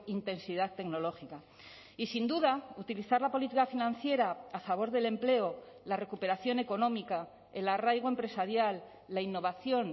intensidad tecnológica y sin duda utilizar la política financiera a favor del empleo la recuperación económica el arraigo empresarial la innovación